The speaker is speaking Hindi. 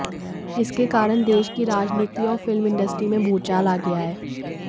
इसके कारण देश की राजनीति और फिल्म इंडस्ट्री में भूचाल आ गया है